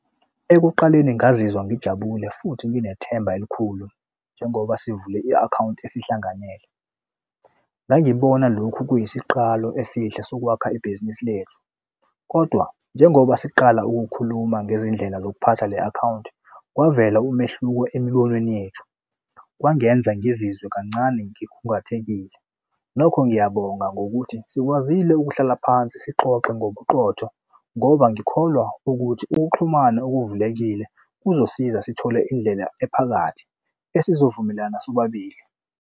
Ekuqaleni ngazizwa ngijabule futhi nginethemba elikhulu njengoba sivule i-akhawunti esihlanganele. Ngangibona lokhu kuyisiqalo esihle sokwakha ibhizinisi lethu, kodwa njengoba siqala ukukhuluma ngezindlela zokuphatha le akhawunti kwavela umehluko emibonweni yethu kwangenza ngizizwe kancane ngikhungathekile. Nokho ngiyabonga ngokuthi sikwazile ukuhlala phansi sixoxe ngobuqotho ngoba ngikholwa ukuthi ukuxhumana okuvulelekile kuzosiza sithole indlela ephakathi esizovumelana sobabili.